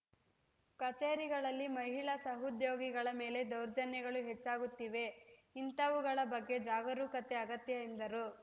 ಕಚೇರಿಗಳಲ್ಲಿ ಮಹಿಳಾ ಸಹೋದ್ಯೋಗಿಗಳ ಮೇಲೆ ದೌರ್ಜನ್ಯಗಳು ಹೆಚ್ಚಾಗುತ್ತಿವೆ ಇಂಥವುಗಳ ಬಗ್ಗೆ ಜಾಗರೂಕತೆ ಅಗತ್ಯ ಎಂದರು